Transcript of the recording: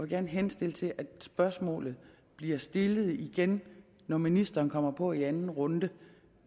gerne henstille til at spørgsmålet bliver stillet igen når ministeren kommer på i anden runde